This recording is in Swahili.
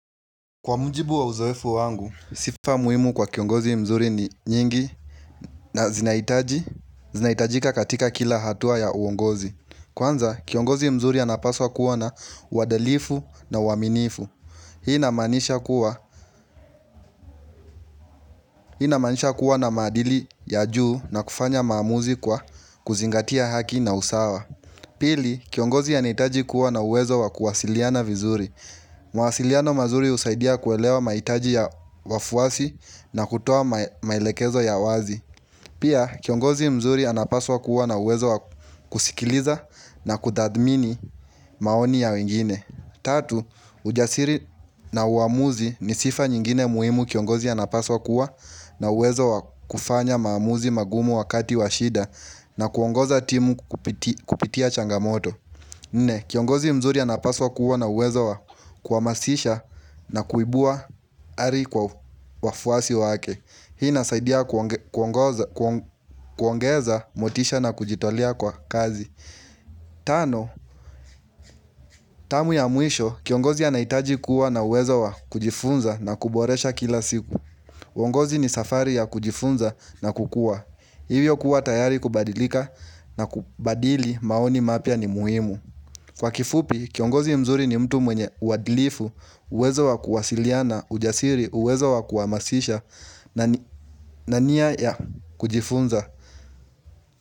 Kwa mjibu wa uzoefu wangu, sifa muhimu kwa kiongozi mzuri ni nyingi na zinahitaji, zinahitajika katika kila hatua ya uongozi. Kwanza, kiongozi mzuri anapaswa kuwa na uadalifu na uaminifu. Hii inamanisha kuwa hii inamaanisha kuwa na maadili ya juu na kufanya maamuzi kwa kuzingatia haki na usawa. Pili, kiongozi anahitaji kuwa na uwezo wa kuwasiliana vizuri. Mawasiliano mazuri husaidia kuelewa mahitaji ya wafuasi na kutoa maelekezo ya wazi Pia kiongozi mzuri anapaswa kuwa na uwezo wa kusikiliza na kutadhmini maoni ya wengine. Tatu, ujasiri na uamuzi ni sifa nyingine muhimu kiongozi anapaswa kuwa na uwezo wa kufanya maamuzi magumu wakati wa shida na kuongoza timu kupitia changamoto. Nne, kiongozi mzuri anapaswa kuwa na uwezo wa kuhamasisha na kuibua ari kwa wafuasi wake. Hii inasaidia kuongeza motisha na kujitolea kwa kazi. Tano, tamu ya mwisho, kiongozi anahitaji kuwa na uwezo wa kujifunza na kuboresha kila siku. Uongozi ni safari ya kujifunza na kukua. Hivyo kuwa tayari kubadilika na kubadili maoni mapya ni muhimu. Kwa kifupi, kiongozi mzuri ni mtu mwenye uadilifu, uwezo wa kuwasiliana, ujasiri, uwezo wa kuhamasisha, na nia ya kujifunza.